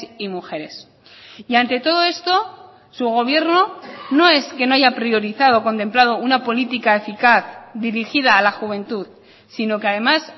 y mujeres y ante todo esto su gobierno no es que no haya priorizado contemplado una política eficaz dirigida a la juventud sino que además